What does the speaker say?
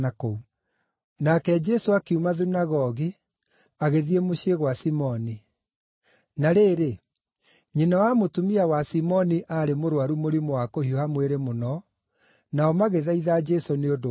Nake Jesũ akiuma thunagogi, agĩthiĩ mũciĩ gwa Simoni. Na rĩrĩ, nyina wa mũtumia wa Simoni aarĩ mũrũaru mũrimũ wa kũhiũha mwĩrĩ mũno, nao magĩthaitha Jesũ nĩ ũndũ wake.